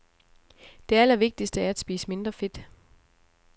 Det allervigtigste er at spise mindre fedt.